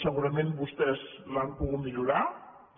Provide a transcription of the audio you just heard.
segurament vostès l’han pogut millorar també